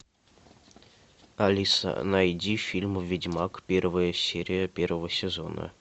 алиса найди фильм ведьмак первая серия первого сезона